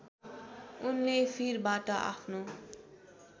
उनले फिरबाट आफ्नो